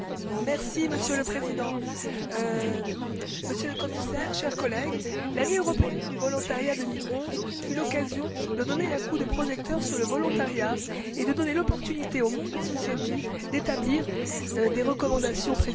Monsieur le Président, Monsieur le Commissaire, chers collègues, l'Année européenne du volontariat 2011 fut l'occasion de donner un coup de projecteur sur le volontariat et de donner l'opportunité au monde associatif d'établir des recommandations précieuses.